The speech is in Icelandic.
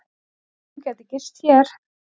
Þú gætir gist hér.